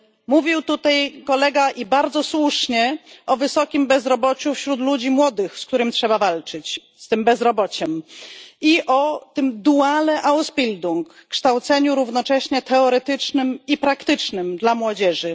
Mówił tutaj Kolega, i bardzo słusznie, o wysokim bezrobociu wśród ludzi młodych, z którym trzeba walczyć, i o systemie dualnym, czyli kształceniu równocześnie teoretycznym i praktycznym młodzieży.